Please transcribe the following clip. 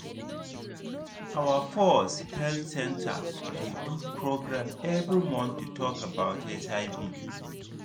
our pause health center dey do program every month to talk about hiv